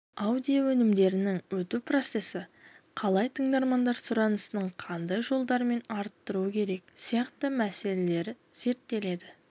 аудио өнімдерінің өту процесі қалай тыңдармандар сұранысының қандай жолдармен арттыру керек сияқты мәселелер зерттеледі